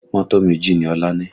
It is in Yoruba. Mọ́tò méjì ni Ọlá ní